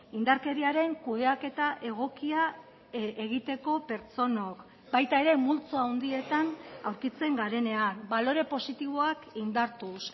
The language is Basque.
indarkeriaren kudeaketa egokia egiteko pertsonak baita ere multzo handietan aurkitzen garenean balore positiboak indartuz